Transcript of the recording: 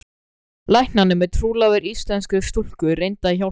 Læknanemi trúlofaður íslenskri stúlku reyndi að hjálpa.